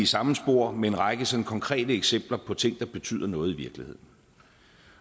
samme spor med en række sådan konkrete eksempler på ting der betyder noget i virkeligheden